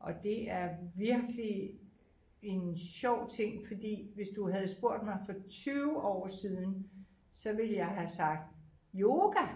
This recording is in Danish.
Og det er virkelig en sjov ting fordi hvis du havde spurgt mig for 20 år siden så ville jeg have sagt yoga